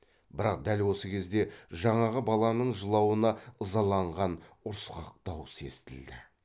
бірақ дәл осы кезде жаңағы баланың жылауына ызаланған ұрысқақ дауыс естілді